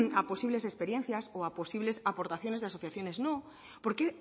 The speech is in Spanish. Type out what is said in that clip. a posibles experiencias o a posibles aportaciones de asociaciones no porque